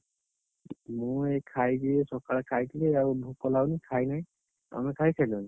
ମୁଁ ଏଇ ଖାଇଥିଲି ସକାଳେ ଖାଇଥିଲି ଏବେ ଆଉ ଭୋକ ଲାଗୁନି ଖାଇନି, ତମେ ଖାଇସାରିଲଣି?